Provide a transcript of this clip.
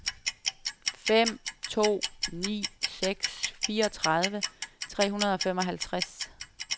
fem to ni seks fireogtredive tre hundrede og femoghalvtreds